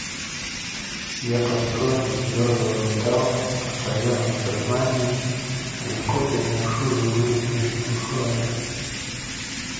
я построен из твёрдого металла постоянно в сознании легко переношу любые внешние условия